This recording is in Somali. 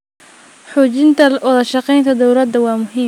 Xoojinta wadashaqeynta dowladda waa muhiim.